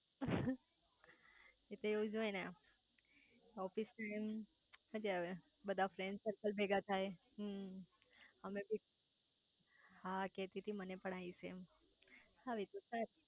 એ તો એવુજ હોય ને ઓફિસ ટાઈમ મજા આવે બધા ફ્રેન્ડ સરકલ ભેગાં થાય હમ્મ અમે બી હા કેતી તી મને પણ આઈસ એમ આવે તો સારુ